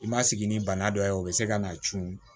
I ma sigi ni bana dɔ ye o bɛ se ka na cun